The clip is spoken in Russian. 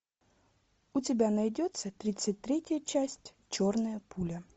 у тебя найдется тридцать третья часть черная пуля